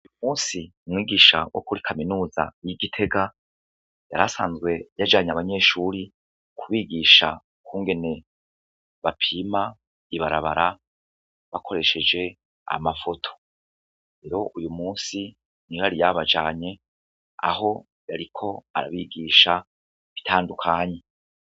Uyu munsi umwigisha wo kuri Kaminuza y'i Gitega, yari asanzwe yajanye abanyeshuri kubigisha ukungene bapima ibarabara bakoresheje amafoto. Rero uyu munsi niyo yari yabajanye, aho yariko arabigisha ibitandukanye.